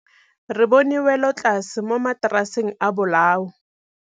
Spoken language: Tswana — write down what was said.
Re bone wêlôtlasê mo mataraseng a bolaô.